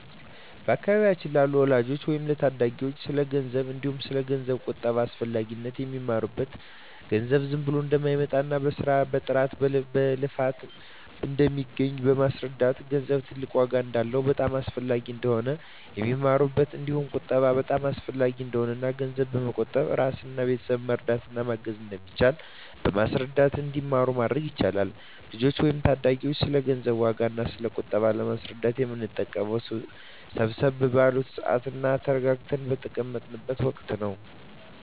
በአካባቢያችን ላሉ ልጆች ወይም ለታዳጊዎች ስለ ገንዘብ እንዲሁም ስለ ገንዘብ ቁጠባ አስፈላጊነት የሚማሩት ገንዘብ ዝም ብሎ እንደማይመጣ በስራ በጥረት በልፋት እንደሚገኝ በማስረዳት ገንዘብ ትልቅ ዋጋ እንዳለውና በጣም አስፈላጊ እንደሆነ ነው የሚማሩት እንዲሁም ቁጠባ በጣም አሰፈላጊ እንደሆነና እና ገንዘብ በመቆጠብ እራስንና ቤተሰብን መርዳት እና ማገዝ እንደሚቻል በማስረዳት እንዲማሩ ማድረግ ይቻላል። ልጆችን ወይም ታዳጊዎችን ስለ ገንዘብ ዋጋ እና ስለ ቁጠባ ለማስረዳት የምንጠቀመው ሰብሰብ ባሉበት ስዓት እና ተረጋግተው በተቀመጡት ወቀት ነው።